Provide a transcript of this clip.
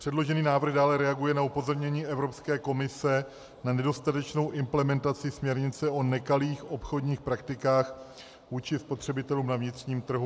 Předložený návrh dále reaguje na upozornění Evropské komise na nedostatečnou implementaci směrnice o nekalých obchodních praktikách vůči spotřebitelům na vnitřním trhu.